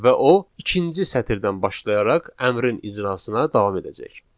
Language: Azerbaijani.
Və o ikinci sətirdən başlayaraq əmrin icrasına davam edəcək.